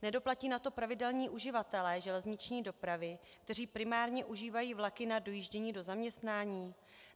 Nedoplatí na to pravidelní uživatelé železniční dopravy, kteří primárně užívají vlaky na dojíždění do zaměstnání?